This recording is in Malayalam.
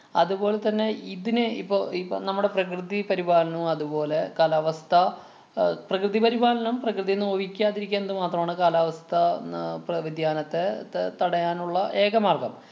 അതുപോലെ തന്നെ ഇതിനെ ഇപ്പൊ ഇപ്പൊ നമ്മുടെ പ്രകൃതി പരിപാലനവും, അതുപോലെ കാലാവസ്ഥാ അഹ് പ്രകൃതി പരിപാലനം പ്രകൃതിയെ നോവിക്കാതിരിക്കാന്നത് മാത്രമാണ് കാലാവസ്ഥാ ന~ പ~ വ്യതിയാനത്തെ ത~ തടയാനുള്ള ഏക മാര്‍ഗം.